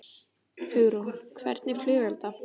Hugrún: Hvernig flugelda?